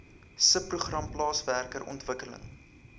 subprogram plaaswerker ontwikkeling